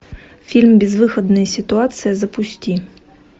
фильм безвыходная ситуация запусти